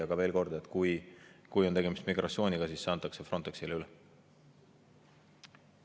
Aga veel kord: kui on tegemist migratsiooniga, siis antakse üle Frontexile.